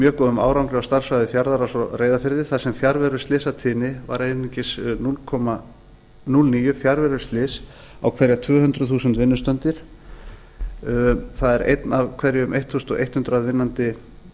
mjög góðum árangri á starfssvæði fjarðaáls á reyðarfirði þar sem fjarveruslysatíðnin var einungis núll komma núll níu fjarveruslys á hverjar tvö hundruð þúsund vinnustundir það er eitt af hverjum þúsund hundrað vinnandi